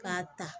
K'a ta